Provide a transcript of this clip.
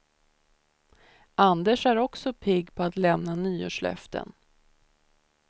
Anders är också pigg på att lämna nyårslöften.